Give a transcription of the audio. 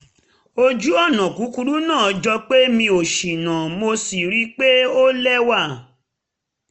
ojù-ọ̀nà kúkúrú náà jọ pé mi ò ṣìnà mo sì ríi pé ó lẹ́wà